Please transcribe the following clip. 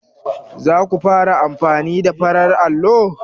Za ku fara amfani da farar allo?